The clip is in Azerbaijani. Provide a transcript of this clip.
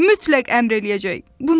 Mütləq əmr eləyəcək, buna söz ola bilməz.